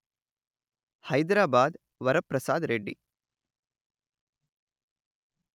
Hyderabad Varaprasad Reddy